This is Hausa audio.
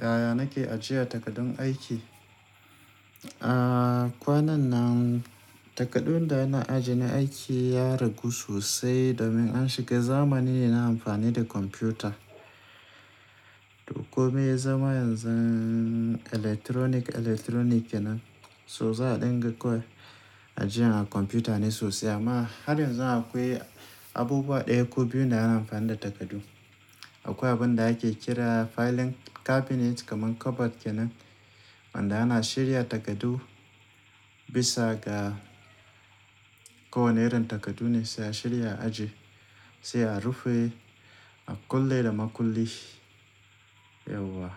Yaya nake ajiye takardun aiki? A kwanan nan takardun da ana ajiye na aiki ya ragu sosai domin an shiga zamanin na amfani da kwamfuta. Duk kome ya zama yanzun electronic electronic kenan, so za a dinga kawai ajiyan a kwamfuta ne sosai. Amma har yanzu akwai abubuwa ɗaya ko biyu da ana amfani da takardu. Akwai abin da ake kira filing cabinet kamar cupboard kenan wanda ana shirya takardu bisa ga ko wane irin takardu ne sai a shirya ajiye, sai a rufe a kulle da maƙulli. Yauwa